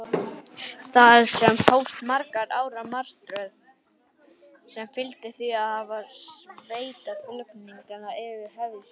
Þar með hófst margra ára martröð, sem fyldi því að hafa sveitarflutninga yfir höfði sér.